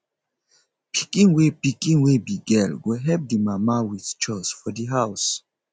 pikin wey pikin wey be girl go help di mama with chores for di house